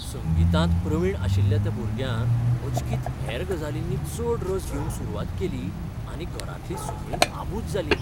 संगीतांत प्रवीण आशिल्ल्या त्या भुरग्यान अचकीत हेर गजालींनी चड रस घेवंक सुरवात केली आनी घरांतलीं सगळींच आबूज जालीं.